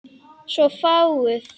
Svo fáguð.